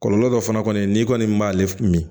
Kɔlɔlɔ dɔ fana kɔni n'i kɔni b'ale min